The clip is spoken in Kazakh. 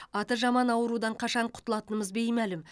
аты жаман аурудан қашан құтылатынымыз беймәлім